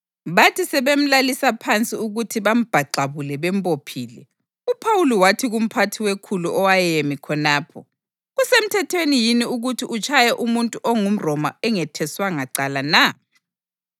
Bathi sebemlalisa phansi ukuthi bambhaxabule bembophile, uPhawuli wathi kumphathi wekhulu owayemi khonapho, “Kusemthethweni yini ukuthi utshaye umuntu ongumRoma ongetheswanga cala na?”